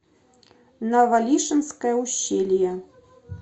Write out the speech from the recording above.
навалишенское ущелье